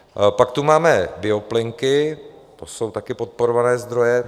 Pak tu máme bioplynky, to jsou také podporované zdroje.